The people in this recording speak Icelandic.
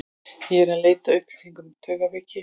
Ég er eð leita að upplýsingum um taugaveiki.